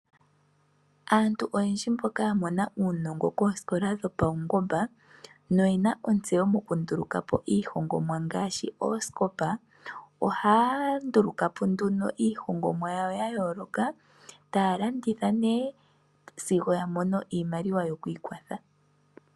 Aantu oyendji mboka ya mona uunongo koosikola dhopaungomba , no oyena ontseyo yo ku ndulukapo iihongomwa ngaashi oosikopa, ohaya nduluka po nduno iihongomwa yawo ya yooloka , ta ya landitha nee sigo ya mono iimaliwa yo ku ikwatha .